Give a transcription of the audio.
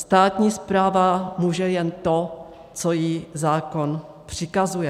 Státní správa může jen to, co jí zákon přikazuje.